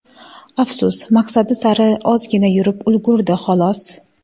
Afsus, maqsadi sari ozgina yurib ulgurdi, xolos.